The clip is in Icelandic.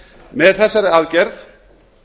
með þessari aðgerð